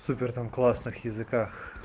супер там классных языках